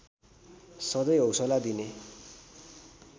सधैँ हौसला दिने